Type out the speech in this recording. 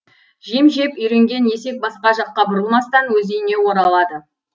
жем жеп үйренген есек басқа жаққа бұрылмастан өз үйіне оралады